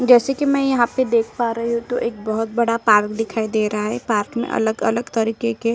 जैसे कि मैं यहां पर देख पा रही हूं तो एक बहोत बड़ा पार्क दिखाई दे रहा है पार्क में अलग-अलग तरीके के --